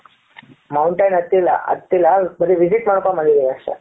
mountain ಹತ್ತಿಲ್ಲ ಹತ್ತಿಲ್ಲ ಆದ್ರೆ ಬರಿ visit ಮಾಡಿಕೊಂಡು ಬಂದಿದ್ದೇನೆ ಅಷ್ಟೇ.